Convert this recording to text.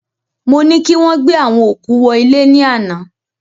Mo ni kí wọ́n gbé àwọn òkú wọ ilẹ̀ ní àná